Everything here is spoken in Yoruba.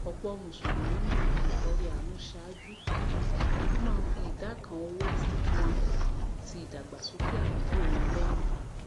òpò mùsùlùmí máá fi ìtọrẹ àánú sàájú wón máá fi ìdá kan owó wọn ti ìdàgbàsókè àdúgbò wọn léyìn